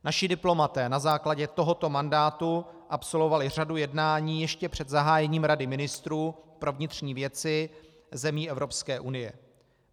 Naši diplomaté na základě tohoto mandátu absolvovali řadu jednání ještě před zahájením Rady ministrů pro vnitřní věci zemí Evropské unie.